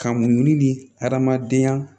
Ka muɲu ni hadamadenya